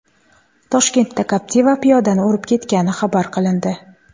Toshkentda Captiva piyodani urib ketgani xabar qilindi.